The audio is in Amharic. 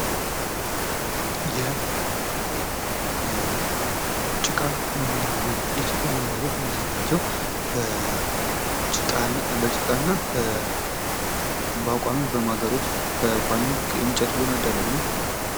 የጭቃ መኖሪያ ቤት የጭቃ መኖሪያ ቤት በጭቃ እና በቋሚ በማገሮች በቋሚ እንጨት በመደረግ ነው።